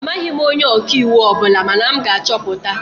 Amaghị m onye ọka iwu ọ bụla mana m ga-achọpụta